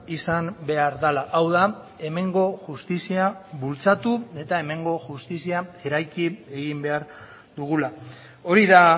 izan behar dela hau da hemengo justizia bultzatu eta hemengo justizia eraiki egin behar dugula hori da